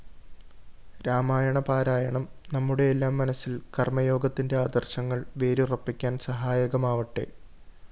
രാമായണ പാരായണം നമ്മുടെയെല്ലാം മനസ്സില്‍ കര്‍മ്മയോഗത്തിന്റെ ആദര്‍ശങ്ങള്‍ വേരുറപ്പിക്കാന്‍ സഹായകമാവട്ടെ